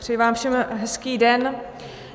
Přeji vám všem hezký den.